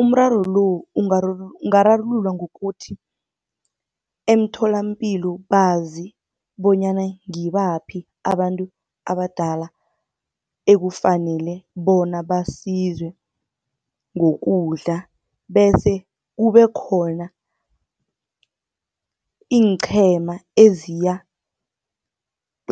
Umraro lo ungararululwa ngokuthi, emtholapilo bazi bonyana ngibaphi abantu abadala ekufanele bona basizwe ngokudla. Bese kube khona iinqhema eziya